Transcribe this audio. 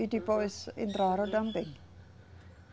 E depois entraram também.